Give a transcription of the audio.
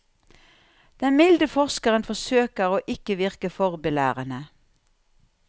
Den milde forskeren forsøker å ikke virke for belærende.